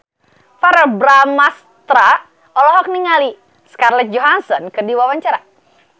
Verrell Bramastra olohok ningali Scarlett Johansson keur diwawancara